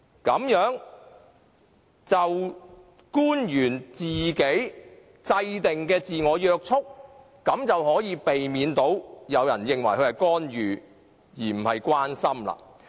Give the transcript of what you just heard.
官員這樣制訂自我約束的條件，便可避免被人認為他們是干預，而非關心。